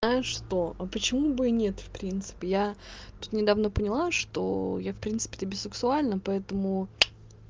а что а почему бы и нет в принципе я тут недавно поняла что я в принципе би сексуальна поэтому